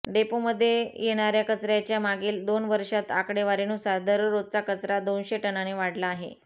डेपोमध्ये येणाऱ्या कचऱ्याच्या मागील दोन वर्षातील आकडेवारीनुसार दररोजचा कचरा दोनशे टनाने वाढला आहे